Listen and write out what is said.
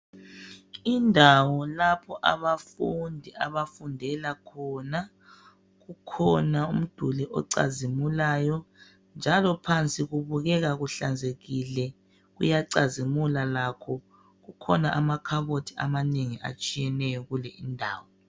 Indawo lapho abafundi abafundela khona kukhona umduli ocazimulayo njalo phansi kubukeka kuhlazekile kuyacazimula lakho kukhona amakhabothi amanengi atshiyeneyo kule indawo.